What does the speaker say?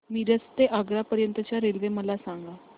मिरज ते आग्रा पर्यंत च्या रेल्वे मला सांगा